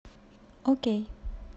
окей